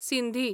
Sindhi